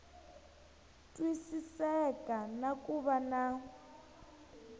twisiseka na ku va na